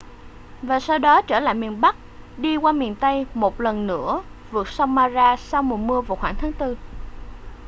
và sau đó trở lại miền bắc đi qua miền tây một lần nữa vượt sông mara sau mùa mưa vào khoảng tháng tư